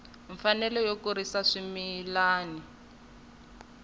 mfanelo yo kurisa swimila wu